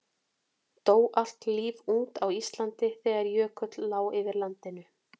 dó allt líf út á íslandi þegar jökull lá yfir landinu